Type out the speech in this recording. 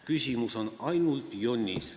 Küsimus on ainult jonnis.